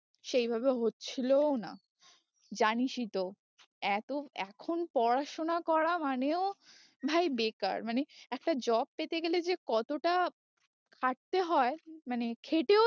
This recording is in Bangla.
সেই ভাবে হচ্ছিলোও না জানিসই তো এতো এখন পড়াশোনা করা মানেও ভাই বেকার মানে একটা job পেতে গেলে যে কতটা খাটতে হয়ে মানে খেটেও